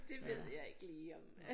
Det ved jeg ikke lige om